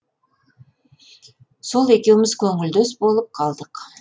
сол екеуіміз көңілдес болып қалдық